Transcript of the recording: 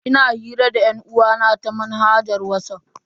Ina hira da yan'uwa na ta manhajar Whatsapp.